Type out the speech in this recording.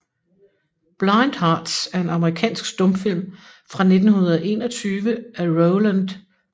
Blind Hearts er en amerikansk stumfilm fra 1921 af Rowland V